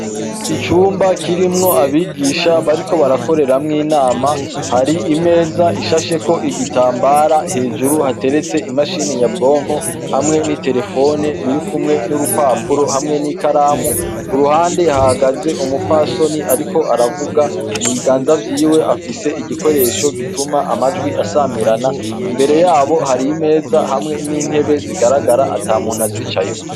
Icumba kirimwo abigisha bariko barakoreramw'inama, hari imeza ishasheko igitambara, hejuru hateretse imashini nyabwonko hamwe n'iterefone biri kumwe n'urupapuro, hamwe n'ikaramu. Ku ruhande hahagaze umupfasoni ariko aravuga. Mu biganza vyiwe afise igikoresho gituma amajwi asamirana, imbere yabo, hari imeze hamwe n'intebe zigaragara ata muntu azicayeko.